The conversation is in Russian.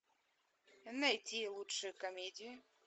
найти лучшие комедии